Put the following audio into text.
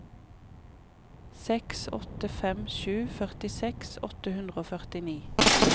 seks åtte fem sju førtiseks åtte hundre og førtini